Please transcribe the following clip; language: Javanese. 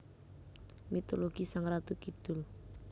Mitologi Sang Ratu Kidul